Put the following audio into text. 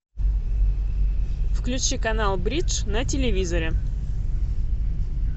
включи канал бридж на телевизоре